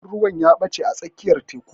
Jirgin ruwa ya ɓache a tsakiyar teƙu.